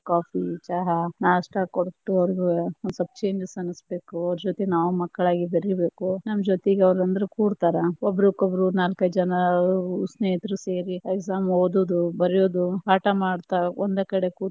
Coffee ಚಹಾ ನಾಷ್ಟಾ ಕೊಟ್ಟು ಅವ್ರಗು ಒಂದ ಸ್ವಲ್ಪ changes ಅನಸಬೇಕು, ಅವ್ರ ಜೊತೆ ನಾವು ಮಕ್ಕಳಾಗಿ ಬೆರಿಬೆಕು, ನಮ್ಮ ಜೋತಿಗ ಅವ್ರ ಅಂದ್ರ ಕೂಡತಾರ ಒಬ್ರುಕೊಬ್ಬರು ನಾಲ್ಕೈದ ಜನಾ ಸ್ನೇಹಿತರು ಸೇರಿ exam ಓದುದು ಬರಿಯುದು ಪಾಠ ಮಾಡುತಾ ಒಂದ ಕಡೆ.